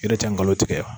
Yɛrɛ tɛ ngalon tigɛ